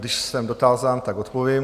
Když jsem dotázán, tak odpovím.